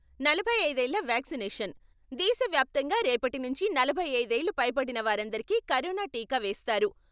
నలభై ఐదు ఏళ్ల వ్యాక్సినేషన్, దేశ వ్యాప్తంగా రేపటి నుంచి నలభై ఐదు ఏళ్లు పైబడిన వారందరికీ కరోనా టీకా వేస్తారు.